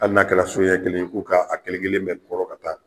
Ali n'a kɛra son ɲɛ kelen i k'o kɛ a kelen kelen bɛ kɔrɔ ka taa